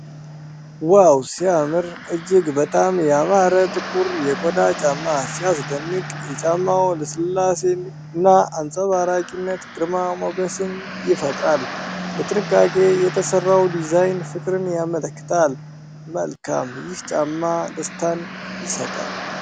ዋው ሲያምር! እጅግ በጣም ያማረ ጥቁር የቆዳ ጫማ! ሲያስደንቅ! የጫማው ልስላሴና አንጸባራቂነት ግርማ ሞገስን ይፈጥራል። በጥንቃቄ የተሠራው ዲዛይን ፍቅርን ያመለክታል። መልካም! ይህ ጫማ ደስታን ይሰጣል!